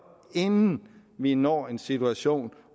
inden vi når en situation